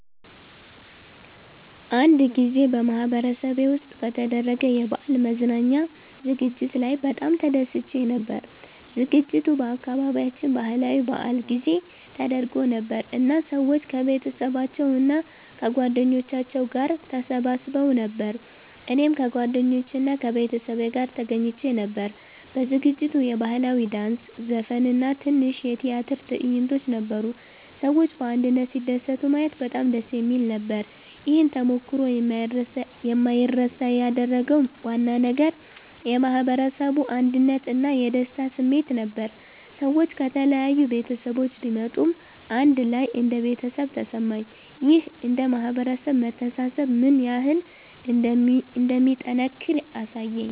አንድ ጊዜ በማህበረሰቤ ውስጥ በተደረገ የበዓል መዝናኛ ዝግጅት ላይ በጣም ተደስቼ ነበር። ዝግጅቱ በአካባቢያችን ባህላዊ በዓል ጊዜ ተደርጎ ነበር እና ሰዎች ከቤተሰባቸው እና ከጓደኞቻቸው ጋር ተሰብስበው ነበር። እኔም ከጓደኞቼ እና ከቤተሰቤ ጋር ተገኝቼ ነበር። በዝግጅቱ የባህላዊ ዳንስ፣ ዘፈን እና ትንሽ የቲያትር ትዕይንቶች ነበሩ። ሰዎች በአንድነት ሲደሰቱ ማየት በጣም ደስ የሚል ነበር። ይህን ተሞክሮ የማይረሳ ያደረገው ዋና ነገር የማህበረሰቡ አንድነት እና የደስታ ስሜት ነበር። ሰዎች ከተለያዩ ቤተሰቦች ቢመጡም አንድ ላይ እንደ ቤተሰብ ተሰማኝ። ይህ እንደ ማህበረሰብ መተሳሰብ ምን ያህል እንደሚጠናከር አሳየኝ።